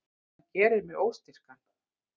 Hann gerir mig óstyrkan.